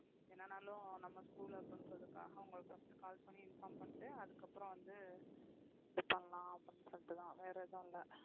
என்னனாலும் நம்ம school அப்படின்றதுக்காக உங்களுக்கு first call பண்ணி inform பண்ணிட்டு அதுக்கப்புறம் வந்து இது பண்ணலாம் அப்படின்னு சொல்லிட்டுதான் வேற எதுவும் இல்லை